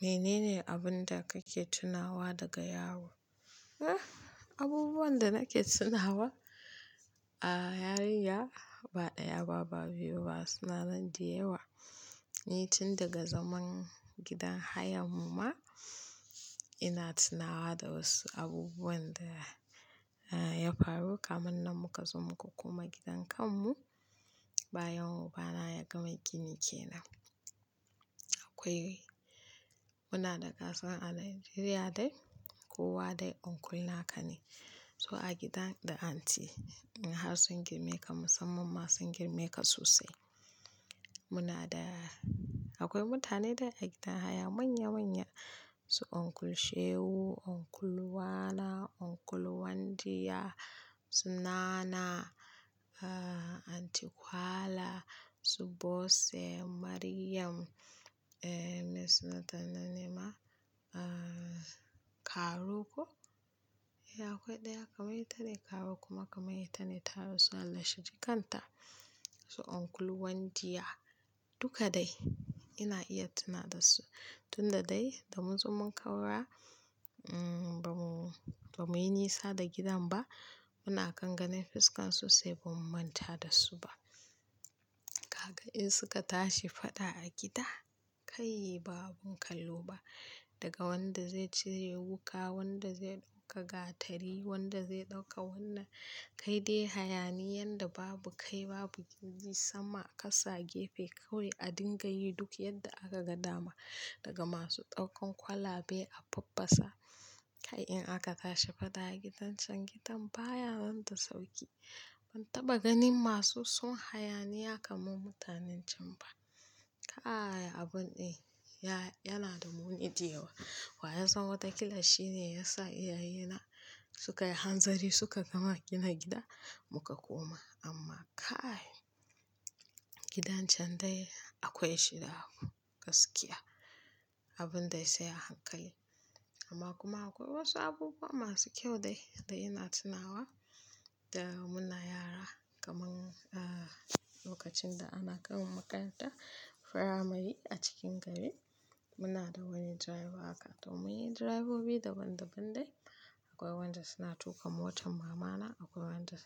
Menene abin da kake tunawa daga yaro? Abubuwan da nake tunawa a yarinya ba ɗaya ba, ba biyu ba, suna nan da yawa. Ni tindaga zaman gidan hayar mu ma ina tunawa da wasu abubuwan da ya faru. Kamunnan muka zo muka koma gidan kanmu, bayan uba na ya gama gini kenan. Aƙwai, muna da ƙasa a Najeriya dai, kowa dai Uncle naka ne. To a gidan da Anti, har sun girme ka, musamman ma in sun girme ka sosai. Muna da, akwiai mutane dai a gidan haya manya-manya, su Uncle Shehu, Uncle Wana, Uncle Wandiya, Sunana, Anti Khala, su Bose, Maryam, eh, me suna ta na nema, ah, Karo ko? Eh akwai ɗaya kamar ita ne Karo kuma kamar ita ne ta rasu allah shi jikanta. Su Uncle Wandiya, duka dai ina iya tuna dasu. Tunda dai da munzo mun kaura, mm, bamu, ba muyi nisa da gidan ba. Muna kan ganin fuskan su sai bamu manta dasu ba. Gaga in suka tashi faɗa a gida, kai babu kallo ba. Daga wanda zai cire wuƙa, wanda zai ɗauka gatari, wanda zai ɗauka wannan. Kai dai hayaniƴanda babu kai babu gindi. Sama a ƙasa, gefe kawai a dinga yi duk yadda akaga dama. Daga masu ɗaukan kwalabe a faffasa, kai in aka tashi faɗa a gidan can, gidan baya nan da sauƙi. Ban taɓa ganin masu son hayaniya kamar mutanen can ba. Kai abun ɗin, ya, yanada muni da yawa. Waya san wata kila shine yasa iyaye na suka yi hanzari suka gama gina gida muka koma. Amma kai, gidan can dai akwai shida gaskiya. Abin de sai a hankali. Amma kuma akwai wasu abubuwa masu ƙyau dai da ina tunawa da muna yara. Kamar, ah, lokacin da ana kai mu makarantar firamare a cikin gari, muna da wani direba haka. To mun yi direbobi daban daban dai. Akwai wanda suna tuƙa motar mama na, akwai wanda